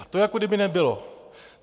A to jako kdyby nebylo.